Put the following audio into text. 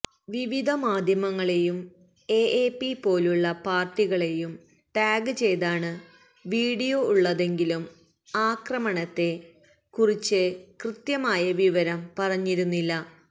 വിവിധ മാധ്യമങ്ങളെയും എഎപി പോലുള്ള പാര്ട്ടികളെയും ടാഗ് ചെയ്താണ് വീഡിയോ ഉള്ളതെങ്കിലും ആക്രമണത്തെ കുറിച്ച് കൃത്യമായ വിവരം പറഞ്ഞിരുന്നില്ല